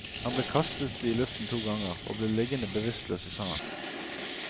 Han ble kastet i luften to ganger og ble liggende bevisstløs i sanden.